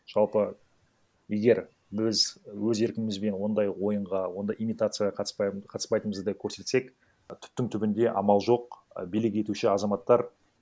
жалпы егер біз өз еркімізбен ондай ойынға ондай имитацияға қатыспай қатыспайтыңымызды көрсетсек түптің түбінде амал жоқ а билік етуші азаматтар